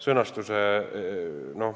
Sõnastus.